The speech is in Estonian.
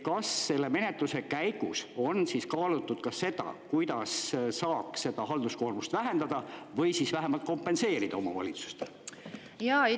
Kas selle menetluse käigus on kaalutud ka seda, kuidas saaks seda halduskoormust vähendada või siis vähemalt kompenseerida omavalitsustele?